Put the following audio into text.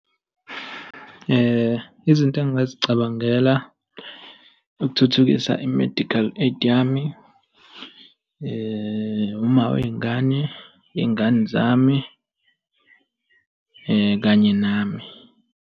Izinto engingazicabangela ukuthuthukisa i-medical aid yami, uma wey'ngane, iy'ngane zami, kanye nami.